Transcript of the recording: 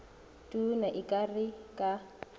tona e ka re ka